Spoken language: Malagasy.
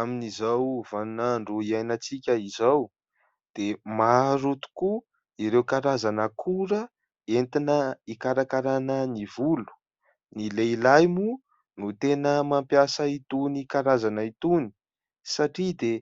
Amin'izao vaninandro hiainantsika izao dia maro tokoa ireo karazana akora entina hikarakarana ny volo; ny lehilahy moa no tena mampiasa itony karazana itony satria dia